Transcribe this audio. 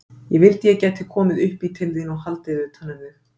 Ég vildi að ég gæti komið upp í til þín og haldið utan um þig.